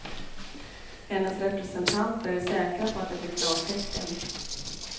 Hennes representanter är säkra på att det blir klartecken.